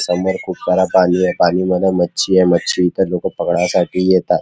समोर खुप सारा पाणी ए पाणी मधी मच्छी ए मच्छी इथ लोक पकडाय साठी येतात.